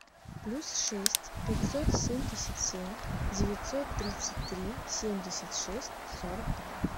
плюс шесть пятьсот семьдесят семь девятьсот тридцать три семьдесят шесть сорок два